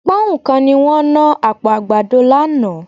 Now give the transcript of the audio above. Pọ́nhùn kan ni wọ́n ná àpò àgbàdo lánàá